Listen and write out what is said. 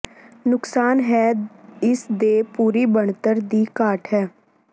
ਨੁਕਸਾਨ ਹੈ ਇਸ ਦੇ ਪੂਰੀ ਬਣਤਰ ਦੀ ਘਾਟ ਹੈ